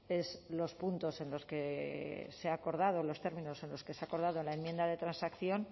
es los puntos en los que se ha acordado los términos en los que se ha acordado la enmienda de transacción